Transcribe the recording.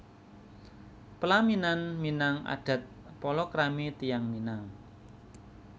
Pelaminan Minang adat palakrami tiyang Minang